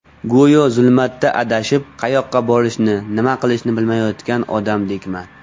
Go‘yo zulmatda adashib, qayoqqa borishni, nima qilishni bilmayotgan odamdekman.